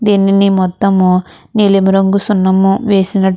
దినిని మొత్తం నిలం రంగు సునం వేసినటు --